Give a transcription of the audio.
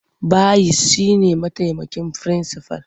Bayis shi ne mataimakin firinsifal.